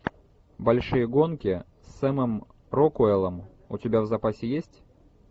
большие гонки с сэмом рокуэллом у тебя в запасе есть